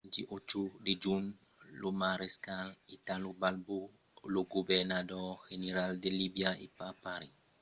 lo 28 de junh lo marescal italo balbo lo governador general de libia e aparent eiretièr de mussolini foguèt tuat per de fòc amic del temps qu'aterrava a tobrok